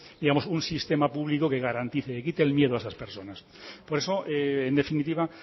un sistema público que garantice que quite el miedo a esas personas por eso en definitiva